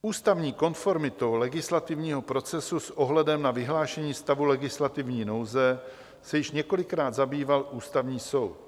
Ústavní konformitou legislativního procesu s ohledem na vyhlášení stavu legislativní nouze se již několikrát zabýval Ústavní soud.